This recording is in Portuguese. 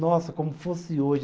Nossa, como fosse hoje.